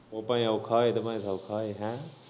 ਓ ਭਾਏ ਔਖਾ ਹੋਏ ਚਾਹੇ ਸੌਖਾ ਹੋਏ ਹੈ।